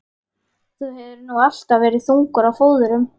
Þú hefur nú alltaf verið þungur á fóðrum.